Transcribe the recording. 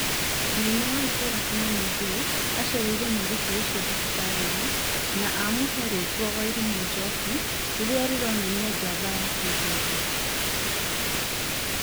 Mũnene wa itũra Kimani Thuo aracereire mũirĩtũ ũcio thibitara-ĩnĩ na Amũhe rĩtwa Wairimu Njoki rĩrĩa rĩronania jamba ya kĩhĩndĩ